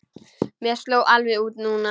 Mér sló alveg út núna.